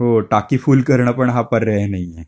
हो टाकी फुल करणं पण हा पर्याय नाहीये.